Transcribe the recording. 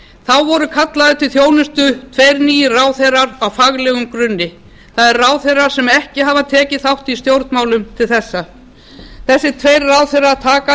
þá voru kallaðir til þjónustu tveir nýir ráðherrar á faglegum grunni það er ráðherrar sem ekki hafa tekið þátt í stjórnmálum til þessa þessir tveir ráðherrar taka að